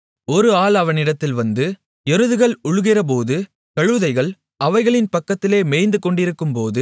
ஒரு ஆள் அவனிடத்தில் வந்து எருதுகள் உழுகிறபோது கழுதைகள் அவைகளின் பக்கத்திலே மேய்ந்து கொண்டிருக்கும்போது